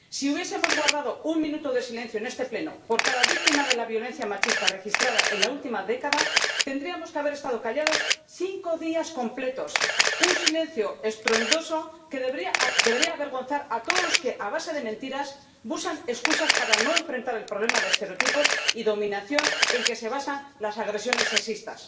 Si hubiésemos guardado un minuto de silencio en este Pleno por cada víctima de la violencia machista registrada en la última década, tendríamos que haber estado callados cinco días completos, un silencio estruendoso que debería avergonzar a todos los que, a base de mentiras, buscan excusas para no enfrentar el problema de estereotipos y dominación en que se basan las agresiones sexistas.